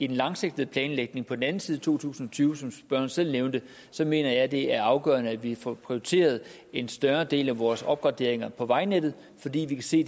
den langsigtede planlægning på den anden side af to tusind og tyve som spørgeren selv nævnte mener jeg det er afgørende at vi får prioriteret en større del af vores opgraderinger på vejnettet fordi vi kan se